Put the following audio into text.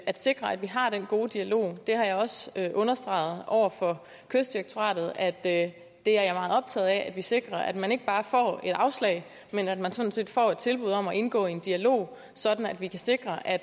at sikre at vi har den gode dialog jeg har også understreget over for kystdirektoratet at det det er jeg meget optaget af at vi sikrer at man ikke bare får et afslag men at man sådan set får et tilbud om at indgå i en dialog sådan at vi kan sikre at